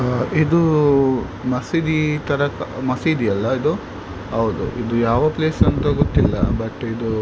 ಇದು ಮಸೀದಿ ತರ ಮಸೀದಿ ಅಲ್ಲ ಇದು ಹೌದು ಇದು ಯಾವ ಪ್ಲೇಸ್ ಅಂತ ಗೊತ್ತಿಲ್ಲ ಬಟ್ ಇದು .